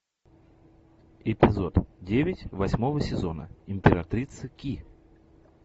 эпизод девять восьмого сезона императрица ки